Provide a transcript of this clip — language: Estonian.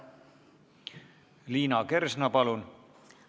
Liina Kersna, palun!